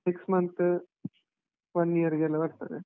Six month, one year ಗೆಲ್ಲಾ ಬರ್ತದೆ.